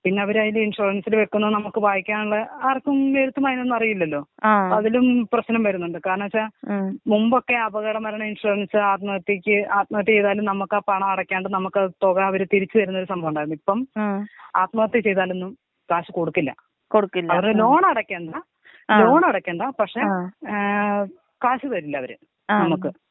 പിന്നെ അവര് അതില് ഇൻഷൂറൻസില് വെക്കാൻ നമക്ക് വായിക്കാനുള്ള ആർക്കും എഴുത്തും വായനയും അറിയില്ലല്ലോ .അതിലും പ്രശ്നം വരുന്നുണ്ട് കാരണെന്തോയ്ച്ച. മുമ്പൊക്കെ അപകട മരണ ഇൻഷുറൻസ് ആത്മഹത്യക്ക് ആത്മഹത്യേതാലും നമുക്ക് പണം അടക്കാണ്ട് നമുക്ക് ആ തുക അവര് തിരിച്ച് തരുന്ന സംഭവണ്ടായിരുന്നു ഇപ്പം. ആത്മഹത്യ ചെയ്താലൊന്നും ക്യാഷ് കൊടുക്കില്ല അത് ലോൺ അടക്കണ്ട, ലോൺ അടക്കണ്ട, പക്ഷെ ഏ ക്യാഷ് തരില്ല അവര് നമ്മക്ക്.